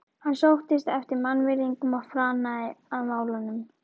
Hann sóttist eftir mannvirðingum og flanaði að málum.